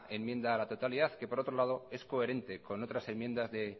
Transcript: enmienda a la totalidad que por otro lado es coherente con otras enmiendas de